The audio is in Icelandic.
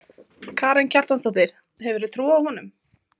Karen Kjartansdóttir: Hefurðu trú á honum?